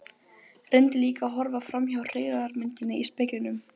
Reyndi líka að horfa framhjá hryggðarmyndinni í speglinum.